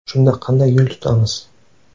Shunda qanday yo‘l tutamiz?